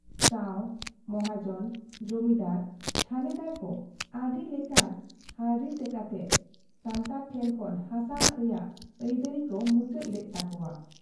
ᱥᱟᱹᱣ , ᱢᱚᱦᱟᱡᱚᱱ , ᱡᱚᱢᱤᱫᱟᱨ, ᱛᱷᱟᱱᱮᱫᱟᱨ ᱠᱚ ᱟᱹᱰᱤ ᱞᱮᱠᱟᱱ ᱦᱟᱹᱶᱰᱤ ᱠᱟᱛᱮ ᱥᱟᱱᱛᱟᱲ ᱴᱷᱮᱱ ᱠᱷᱚᱱ ᱦᱟᱥᱟ ᱨᱮᱭᱟᱜ ᱟᱹᱭᱫᱟᱨᱤ ᱠᱚ ᱢᱩᱪᱟᱹᱫ ᱞᱮᱫ ᱛᱟᱠᱚᱣᱟ ᱾